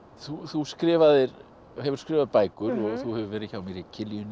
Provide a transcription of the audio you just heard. þú skrifaðir og hefur skrifað bækur og þú hefur verið hjá mér í